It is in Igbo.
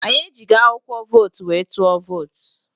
Anyị ejighi akwụkwọ vootu wee tụọ vootu